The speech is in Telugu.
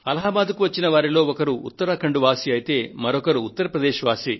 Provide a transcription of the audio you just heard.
అలహాబాద్ కు వచ్చిన వారిలో ఒకరు ఉత్తరాఖండ్ వాసి అయితే ఇంకొకరు ఉత్తరప్రదేశ్ వాసి